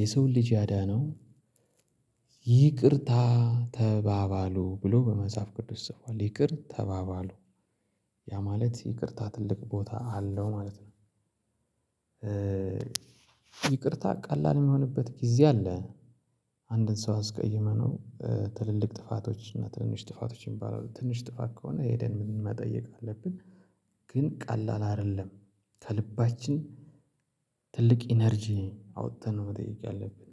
የሰውን ልጅ ያዳነው። ይቅርታ ተባባሉ ብሎ በመጽሐፍ ቅዱስ ጽፏል ይቅር ተባባሉ። ያ ማለት ይቅርታ ትልቅ ቦታ አለው ማለት ነው። ይቅርታ ቀላል የሚሆንበት ጊዜ አለ። አንድን ሰው አስቀይመነው ትልልቅ ጥፋቶች እና ትንሽ ጥፋቶች ሚባሉ አሉ ትንሽ ጥፋት ከሆነ ሄደን መጠየቅ አለብን። ግን ቀላል አይደለም ከልባችን ትልቅ ኢነርጂ አዉጥተን ነው መጠየቅ ያለብን